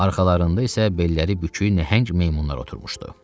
Arxalarında isə belləri bükük nəhəng meymunlar oturmuşdu.